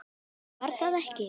Nú, var það ekki?